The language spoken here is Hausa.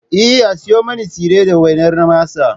Eh, A siyo min tsire da wainar masa